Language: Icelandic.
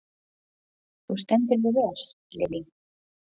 Þú stendur þig vel, Lily!